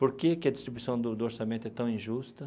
Por que que a distribuição do do orçamento é tão injusta?